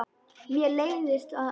Mér leiðast orð hennar.